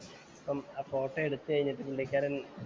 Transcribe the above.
അപ്പം ആ ഫോട്ടോ എടുത്തു കഴിഞ്ഞിട്ട് പുള്ളിക്കാരന്‍